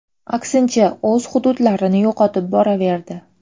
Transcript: Aksincha, o‘z hududlarini yo‘qotib boraverdi.